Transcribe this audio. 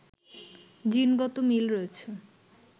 জিনগত মিল রয়েছে